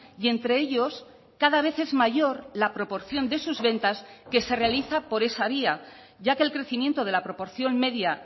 y entre ellos cada vez es mayor la proporción de sus ventas que se realiza por esa vía ya que el crecimiento de la proporción media